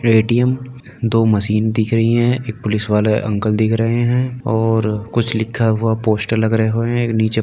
ATM. दो machine दिख रही है। एक पुलिस वाले अंकल दिख रहे है और कुछ लिखा हुआ पोस्टर लग रहे हुए है। एक नीचे --